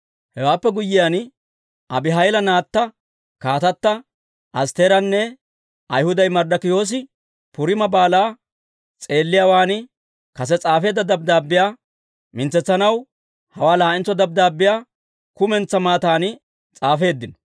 Hewaappe guyyiyaan, Abihayilla naatta, kaatata Astteeranne Ayhuday Marddokiyoosi Puriima Baalaa s'eelliyaawaan kase s'aafeedda dabddaabbiyaa mintsetsanaw hawaa laa'entso dabddaabbiyaa kumentsaa maatan s'aafeeddino.